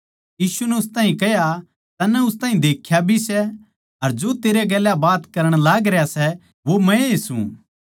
यीशु नै उस ताहीं कह्या तन्नै उस ताहीं देख्या भी सै अर जो तेरै गेल्या बात करण लाग रह्या सै यो वोए सै